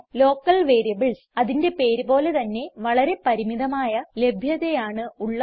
local variables അതിന്റെ പേര് പോലെ തന്നെ വളരെ പരിമിതമായ ലഭ്യതയാണ് ഉള്ളത്